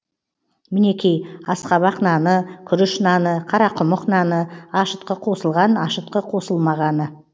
мінекей асқабақ наны күріш наны қарақұмық наны ашытқы қосылған ашытқы қосылмағаны